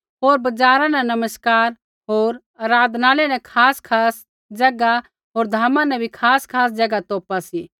होर बजारा न नमस्कार होर आराधनालय न खासखास ज़ैगा होर धामा न भी खासखास ज़ैगा तौपा सी